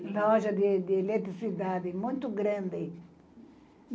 Uma loja de de eletricidade, muito grande.